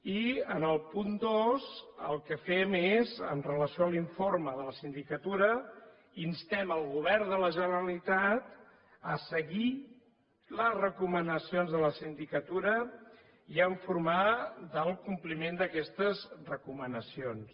i en el punt dos el que fem és amb relació a l’informe de la sindicatura instem al govern de la generalitat a seguir les recomanacions de la sindicatura i a informar del compliment d’aquestes recomanacions